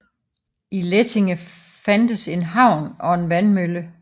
I Lättinge fandtes en havn og en vandmølle